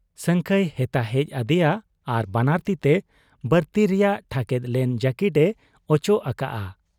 ᱥᱟᱹᱝᱠᱷᱟᱹᱭ ᱦᱮᱛᱟ ᱦᱮᱡ ᱟᱫᱮᱭᱟ ᱟᱨ ᱵᱟᱱᱟᱨ ᱛᱤᱛᱮ ᱵᱟᱨᱛᱤ ᱨᱮᱭᱟᱜ ᱴᱷᱟᱠᱮᱫ ᱞᱮᱱ ᱡᱟᱹᱠᱤᱴ ᱮ ᱚᱪᱚᱜ ᱟᱠᱟᱜ ᱟ ᱾